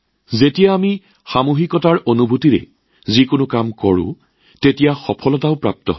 এই সামূহিকতাৰ মনোভাৱেৰে আমি যেতিয়া যিকোনো কাম সম্পাদন কৰোঁ তেতিয়াও আমি সফলতা লাভ কৰো